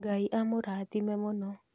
Ngai amũrathime mũno